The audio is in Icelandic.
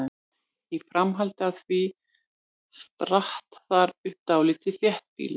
Í framhaldi af því spratt þar upp dálítið þéttbýli.